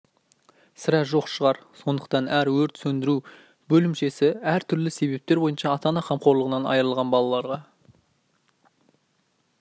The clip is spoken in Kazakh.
сірә жоқ шығар сондықтан әр өрт сөндіру бөлімшесі түрлі себептер бойынша ата-ана қамқорлығынан айырылған балаларға